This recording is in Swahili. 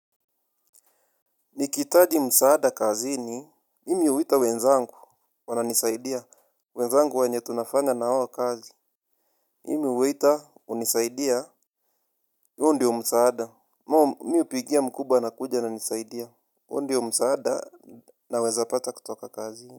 Nikihitaji msaada kazini, mimi huita wenzangu. Wananisaidia, wenzangu wenye tunafanya nao kazi mimi huita, hunisaidia huo ndio msaada. Mimi hupigia mkubwa anakuja ananisaidia huo ndio msaada. Na weza pata kutoka kazini.